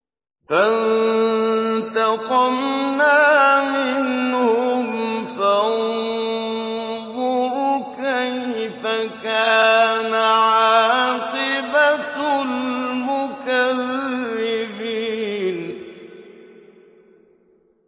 فَانتَقَمْنَا مِنْهُمْ ۖ فَانظُرْ كَيْفَ كَانَ عَاقِبَةُ الْمُكَذِّبِينَ